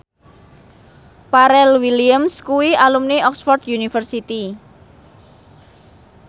Pharrell Williams kuwi alumni Oxford university